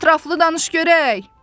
Ətrafda danış görək.